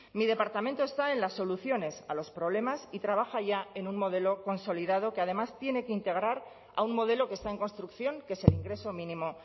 mi departamento está en las soluciones a los problemas y trabaja ya en un modelo consolidado que además tiene que integrar a un modelo que está en construcción que es el ingreso mínimo